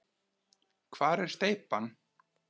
Hvar er steypan?